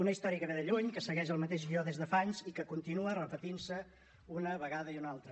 una història que ve de lluny que segueix el mateix guió des de fa anys i que continua repetint se una vegada i una altra